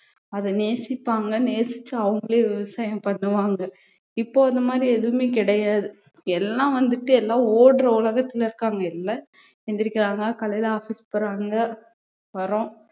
அதை நேசிப்பாங்க நேசிச்சு அவங்களே விவசாயம் பண்ணுவாங்க இப்போ அந்த மாதிரி எதுவுமே கிடையாது எல்லாம் வந்துட்டு எல்லாம் ஓடுற உலகத்துல இருக்காங்க எல்லா எந்திரிக்கிறாங்க காலையில office போறாங்க வர்றோம்